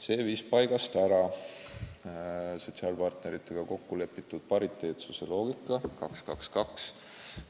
See viis paigast ära sotsiaalpartneritega kokku lepitud pariteetsuse loogika 2–2–2.